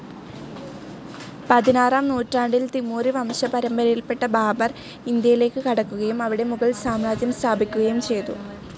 പതിനാറാം നൂറ്റാണ്ടിൽ തിമൂറി വംശപരമ്പരയിൽപ്പെട്ട ബാബർ, ഇന്ത്യയിലേക്ക് കടക്കുകയും അവിടെ മുഗൾ സാമ്രാജ്യം സ്ഥാപിക്കുകയും ചെയ്തു.